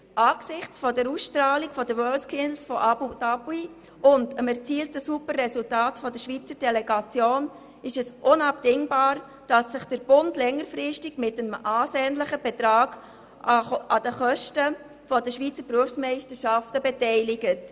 Angesichts der Ausstrahlung der WorldSkills von Abu Dhabi und der Superresultate der Schweizer Delegation ist es unabdingbar, dass sich der Bund längerfristig mit einem ansehnlichen Betrag an den Kosten der Schweizer Berufsmeisterschaften beteiligt.